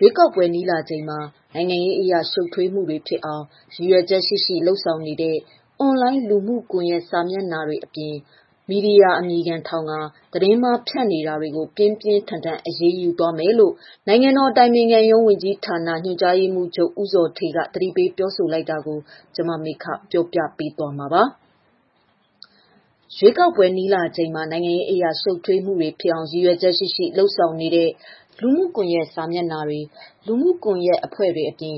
ရွေးကောက်ပွဲနီးလာချိန်မှာ နိုင်ငံရေးအရ ရှုပ်ထွေးမှုတွေ ဖြစ်အောင် ရည်ရွယ်ချက်ရှိရှိ လုပ်ဆောင်နေတဲ့အွန်လိုင်း လူမှုကွန်ယက်စာမျက်နှာတွေအပြင် မီဒီယာ အမည်ခံထောင်ကာ သတင်းမှား ဖြန့်နေတာတွေကို ပြင်းပြင်းထန်ထန်အရေးယူသွားမယ်လို့ နိုင်ငံတော်အတိုင်ပင်ခံရုံး ဝန်ကြီးဌာန ညွှန်ကြားရေးမှုးချုပ် ဦးဇော်ဌေးက သတိပေးပြောဆိုလိုက်တာကို ပြောပြပေးသွားချင်ပါတယ်။ ရန်ကုန်ကနေ မမေခ သတင်းပေးပို့ထားပါတယ်။ ရွေးကောက်ပွဲနီးလာချိန်မှာ နိုင်ငံရေးအရ ရှုပ်ထွေးမှုတွေ ဖြစ်အောင် ရည်ရွယ်ချက်ရှိရှိ လုပ်ဆောင်နေတဲ့လူမှုကွန်ယက် စာမျက်နှာတွေ အပြင်ဒီ